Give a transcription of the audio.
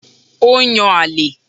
Ó n yan àlè